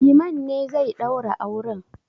Liman ne zai ɗaura auren.